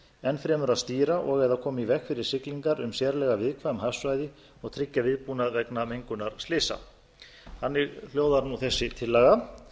enn fremur að stýra og eða koma í veg fyrir siglingar um sérlega viðkvæm hafsvæði og tryggja viðbúnað vegna mengunarslysa þannig hljóðar þessi tillaga